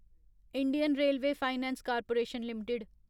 Indian railway finance corporation limited